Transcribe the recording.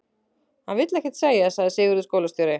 Hann vill ekkert segja, sagði Sigurður skólastjóri.